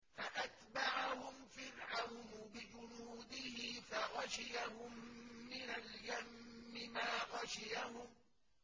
فَأَتْبَعَهُمْ فِرْعَوْنُ بِجُنُودِهِ فَغَشِيَهُم مِّنَ الْيَمِّ مَا غَشِيَهُمْ